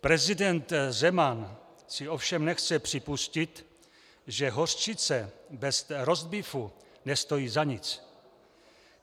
Prezident Zeman si ovšem nechce připustit, že hořčice bez rostbífu nestojí za nic.